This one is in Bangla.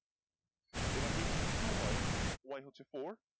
এইবার X যদি two হয় Y হচ্ছে four